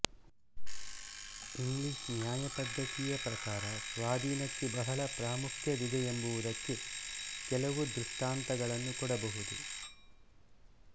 English ನ್ಯಾಯಪದ್ಧತಿಯ ಪ್ರಕಾರ ಸ್ವಾಧೀನಕ್ಕೆ ಬಹಳ ಪ್ರಾಮುಖ್ಯವಿದೆಯೆಂಬುದಕ್ಕೆ ಕೆಲವು ದೃಷ್ಟಾಂತಗಳನ್ನು ಕೊಡಬಹುದು